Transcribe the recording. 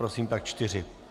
Prosím, tak čtyři.